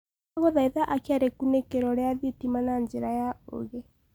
ndagũthaĩtha akĩa rikunikiro ria thitima na njĩra ya uugi